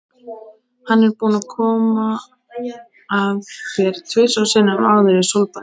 Hann er búinn að koma að þér tvisvar sinnum áður í sólbaði.